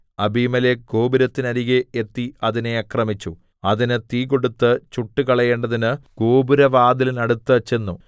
അബീമേലെക്ക് ഗോപുരത്തിന്നരികെ എത്തി അതിനെ ആക്രമിച്ചു അതിന് തീ കൊടുത്ത് ചുട്ടുകളയേണ്ടതിന് ഗോപുരവാതിലിന്നടുത്ത് ചെന്നു